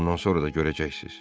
Bundan sonra da görəcəksiz.